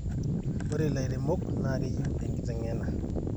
ore ilaremok naa keyieu enkiteng'ena